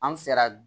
An sera